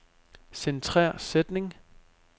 Centrer sætning.